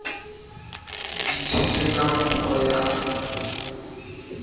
di tshetswe ka nkgo ya